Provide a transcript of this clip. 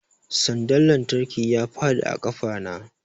Sandar lantarki ya faɗi a ƙafa na